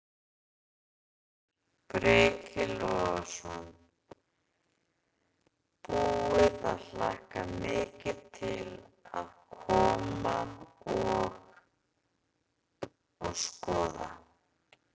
Breki Logason: Búið að hlakka mikið til að koma og, og skoða?